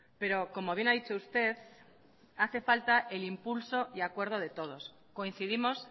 pero como bien ha dicho usted hace falta el impulso y acuerdo de todos coincidimos